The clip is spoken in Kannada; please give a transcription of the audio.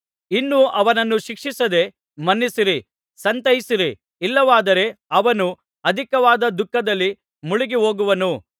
ಇನ್ನೂ ಅವನನ್ನು ಶಿಕ್ಷಿಸದೇ ಮನ್ನಿಸಿರಿ ಸಂತೈಸಿರಿ ಇಲ್ಲವಾದರೆ ಅವನು ಅಧಿಕವಾದ ದುಃಖದಲ್ಲಿ ಮುಳುಗಿ ಹೋಗುವನು